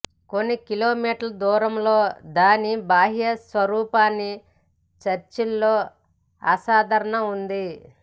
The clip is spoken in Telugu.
కొన్ని కిలోమీటర్ల దూరంలో దాని బాహ్య స్వరూపాన్ని చర్చి లో అసాధారణ ఉంది